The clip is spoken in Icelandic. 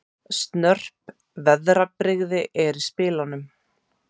Snörp veðrabrigði eru í spilunum